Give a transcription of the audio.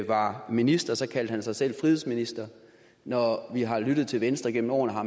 var minister kaldte han sig selv frihedsminister og når vi har lyttet til venstre gennem årene har